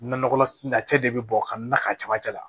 Nakɔlacɛ de bɛ bɔ ka na ka camancɛ la